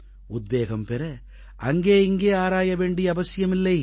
உத்வேகம் பெற அங்கே இங்கே ஆராய வேண்டிய அவசியம் இல்லை